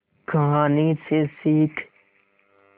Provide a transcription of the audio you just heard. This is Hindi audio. कहानी से सीख